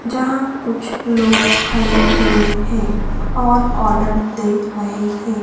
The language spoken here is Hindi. जहां कुछ लोग खड़े हुए हैं और ऑर्डर दे रहे हैं।